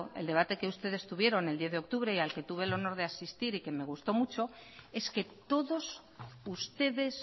el debate que ustedes tuvieron el diez de octubre y al que tuve el honor de asistir y que me gustó mucho es que todos ustedes